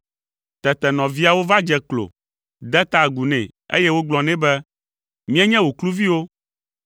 Tete nɔviawo va dze klo, de ta agu nɛ, eye wogblɔ nɛ be, “Míenye wò kluviwo.”